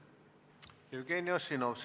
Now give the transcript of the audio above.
Jevgeni Ossinovski.